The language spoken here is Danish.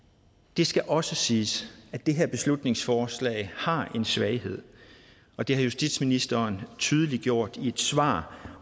det skal også siges at det her beslutningsforslag har en svaghed og det har justitsministeren tydeliggjort i et svar